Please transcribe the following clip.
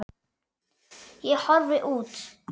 Ég horfi út.